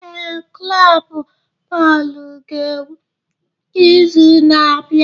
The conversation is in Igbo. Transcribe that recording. Ee, klọb bọọlụ ga-egwu n'izu na-abịa.